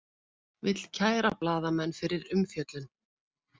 Vill kæra blaðamenn fyrir umfjöllun